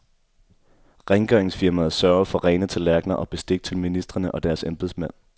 Rengøringsfirmaet sørger for rene tallerkener og bestik til ministrene og deres embedsmænd.